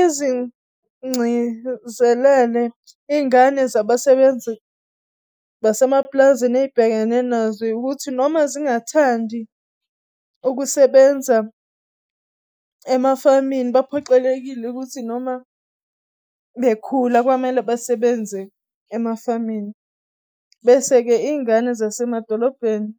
Izingcizelele iy'ngane zabasebenzi basemaplazini ey'bhekene nazo ukuthi noma zingathandi ukusebenza emafamini baphoqelekile ukuthi noma bekhula kwamele besebenze emafamini, bese-ke iy'ngane zasemadolobheni